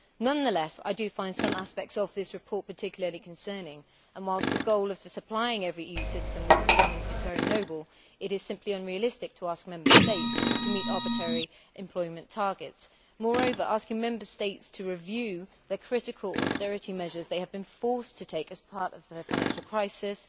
Nonetheless, I do find some aspects of this report particularly concerning and, whilst the goal of the supplying every EU citizen with employment is very noble, it is simply unrealistic to ask Member States to meet arbitrary employment targets. Moreover, asking Member States to review the critical austerity measures they have been forced to take as part of their financial crisis